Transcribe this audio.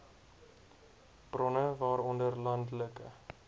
bronne waaronder landelike